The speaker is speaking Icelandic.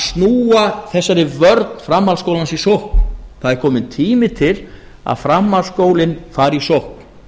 snúa þegar vörn framhaldsskólans í sókn það er kominn tími til að framhaldsskólinn fari í sókn